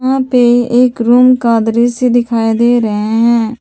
यहां पे एक रूम का दृश्य दिखाई दे रहे हैं।